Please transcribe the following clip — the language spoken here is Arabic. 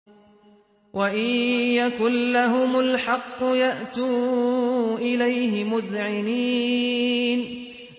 وَإِن يَكُن لَّهُمُ الْحَقُّ يَأْتُوا إِلَيْهِ مُذْعِنِينَ